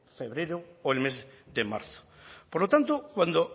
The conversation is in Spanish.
febrero o el mes de marzo por lo tanto cuando